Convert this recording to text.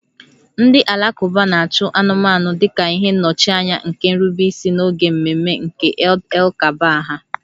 Ndị Alakụba na-achụ anụmanụ dị ka ihe nnọchianya nke nrubeisi n'oge ememe nke Eid-el-Kabir ha